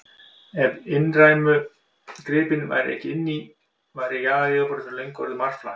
Ef innrænu öflin gripu ekki inn í, væri jarðaryfirborðið fyrir löngu orðið marflatt.